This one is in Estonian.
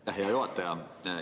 Aitäh, hea juhataja!